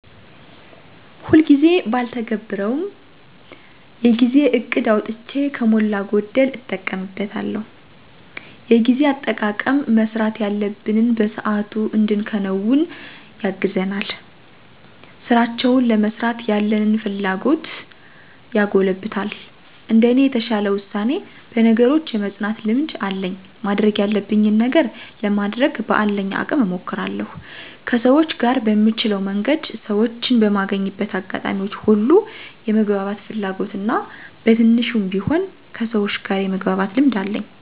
ሁልጊዜ ጊዜ ባልተገብረውም የጊዜ እቅድ አውጥቼ ከሞላ ጎደል እጠቀምበታለሁ። የጊዜ አጠቃቀም መስራት ያለብንን በሰአቱ እንድንከውን ያግዘናል፣ ስራውችን ለመስራት ያለንን ፍላጎት ያጎለብታል። እንደኔ የተሻለ ውሳኔ፣ በነገሮች የመፅናት ልምድ አለኝ ማድረግ ያለብኝን ነገር ለማድረግ በአለኝ አቅም እሞክራለሁ። ከሰውች ጋር በምችለው መንገድ ሰወችን በማገኝበት አጋጣሚዎች ሁሉ የመግባባት ፍላጎት እና በትንሹም ቢሆን ከሰውች ጋር የመግባባት ልምድ አለኝ።